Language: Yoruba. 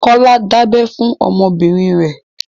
Kọ́lá dábẹ fún ọmọ bìnrin rẹ.